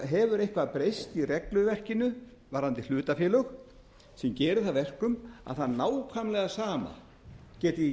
hefur eitthvað breyst í regluverkinu varðandi hlutafélög sem gerir það að verkum að það nákvæmlega sama geti ekki